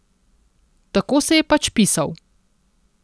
Tako se je pač pisal.